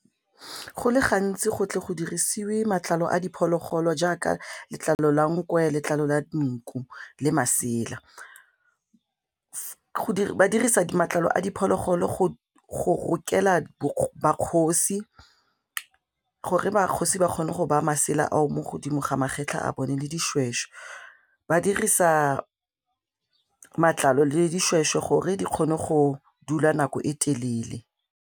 Go le gantsi go tle go dirisiwe matlalo a diphologolo jaaka letlalo la nkwe, letlalo la nku le masela. Ba dirisa matlalo a diphologolo go rokela makgosi, gore makgotsi ba kgone go baya masela a o mo godimo ga magetlha a bone le dišwešwe ba dirisa matlalo le dišwešwe gore di kgone go dula nako e telele.